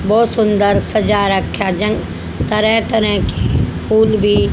बहोत सुंदर सजा रखा जंग तरह तरह की फुल भी--